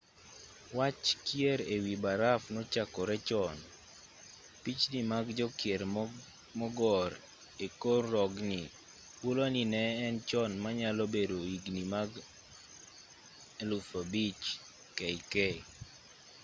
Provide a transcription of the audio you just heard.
wach kier e wi baraf nochakore chon pichni mag jokier mogor e kor rogni hulo ni ne en chon manyalo bedo higni mag 5000 kk